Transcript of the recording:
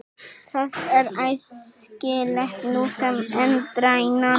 Það er æskilegt nú sem endranær.